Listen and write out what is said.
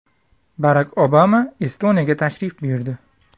Barak Obama Estoniyaga tashrif buyurdi.